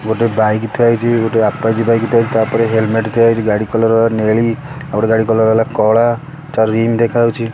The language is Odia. ଗୋଟେ ବାଇକ୍ ଥୁଆ ହେଇଚି ଗୋଟେ ଆପାଜି ବାଇକ୍ ଥୁଆ ହେଇଚି ତା ଉପରେ ହେଲମେଟ୍ ଥୁଆ ହେଇଚି ଗାଡ଼ି କଲର୍ ନେଳି ଆଉ ଗୋଟେ ଗାଡି କଲର୍ ହେଲା କଳା ତା ରିମ୍ ଦେଖାଯାଉଚି।